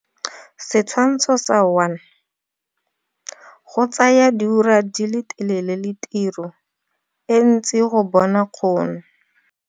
Setshwantsho sa 1. Go tsaya dioura tse di telele le tiro e ntsi go bona kgono.